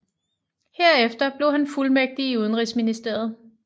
Herefter blev han fuldmægtig i Udenrigsministeriet